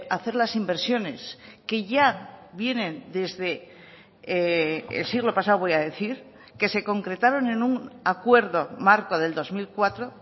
hacer las inversiones que ya vienen desde el siglo pasado voy a decir que se concretaron en un acuerdo marco del dos mil cuatro